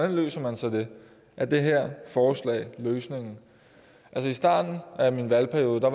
løser man så det er det her forslag løsningen altså i starten af min valgperiode var